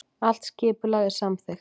Allt skipulag er samþykkt